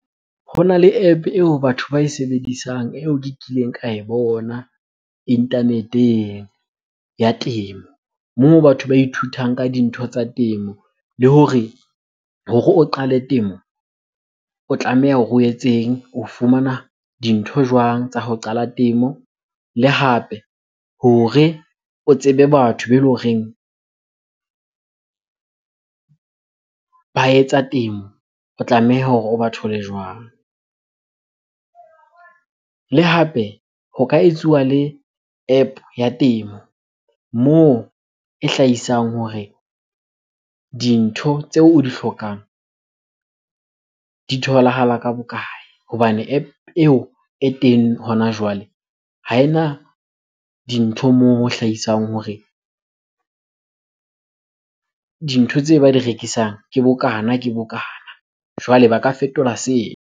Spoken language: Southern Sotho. Hona le App eo batho ba e sebedisang eo ke kileng ka e bona internet-eng ya temo. Moo batho ba ithutang ka dintho tsa temo le hore, hore o qale temo o tlameha hore o etseng? O fumana dintho jwang tsa ho qala temo? Le hape hore o tsebe batho be le horeng ba etsa temo otlameha hore o ba thole jwang? Le hape ho ka etsuwa le App ya temo moo e hlahisang hore dintho tseo o di hlokang di tholahala ka bokae? Hobane App eo e teng hona jwale ha ena dintho moo ho hlahisang hore dintho tse ba di rekisang ke bokana, ke bokana. Jwale ba ka fetola .